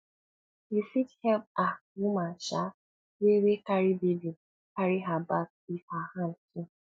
you fit help um woman um wey wey carry baby carry her bag if her hand full